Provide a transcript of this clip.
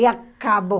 E acabou.